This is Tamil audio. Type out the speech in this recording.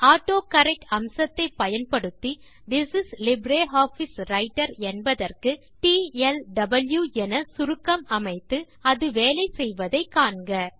ஆட்டோகரெக்ட் அம்சத்தை பயன்படுத்தி திஸ் இஸ் லிப்ரியாஃபிஸ் ரைட்டர் என்பதற்கு டிஎல்டுவி என சுருக்கம் அமைத்து அது வேலை செய்வதை காண்க